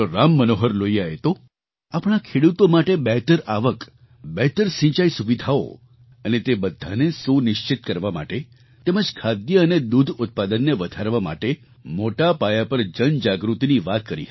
રામમનોહર લોહિયાએ તો આપણા ખેડૂતો માટે બહેતર આવક બહેતર સિંચાઈસુવિધાઓ અને તે બધાને સુનિશ્ચિત કરવા માટે તેમજ ખાદ્ય અને દૂધ ઉત્પાદનને વધારવા માટે મોટા પાયા પર જનજાગૃતિની વાત કરી હતી